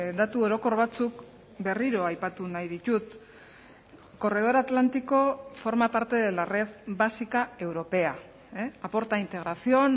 datu orokor batzuk berriro aipatu nahi ditut corredor atlántico forma parte de la red básica europea aporta integración